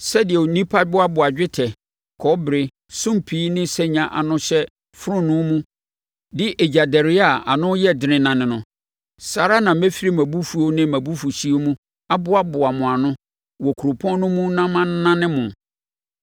Sɛdeɛ nnipa boaboa dwetɛ, kɔbere, sumpii ne sanya ano hyɛ fononoo mu de egyadɛreɛ a ano yɛ dene nane no, saa ara na mɛfiri mʼabufuo ne mʼabufuhyeɛ mu aboaboa mo ano wɔ kuropɔn no mu na manane mo.